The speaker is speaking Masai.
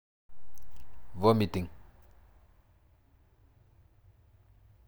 Vomiting.